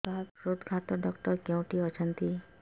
ସାର ହୃଦଘାତ ଡକ୍ଟର କେଉଁଠି ଅଛନ୍ତି